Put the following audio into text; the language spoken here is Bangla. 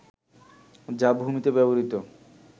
যা ভূমিতে ব্যবহৃত